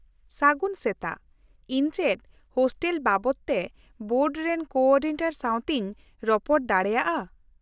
ᱥᱟᱹᱜᱩᱱ ᱥᱮᱛᱟᱜ, ᱤᱧ ᱪᱮᱫ ᱦᱳᱥᱴᱮᱞ ᱵᱟᱵᱚᱛ ᱛᱮ ᱵᱳᱨᱰ ᱨᱮᱱ ᱠᱳᱼᱚᱨᱰᱤᱱᱮᱴᱚᱨ ᱥᱟᱶᱛᱮᱧ ᱨᱚᱯᱚᱲ ᱫᱟᱲᱮᱭᱟᱜᱼᱟ ?